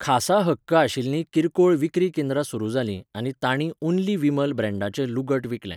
खासा हक्क आशिल्लीं किरकोळ विक्री केंद्रां सुरू जालीं आनी तांणी 'ओन्ली विमल' ब्रँडाचें लुगट विकलें.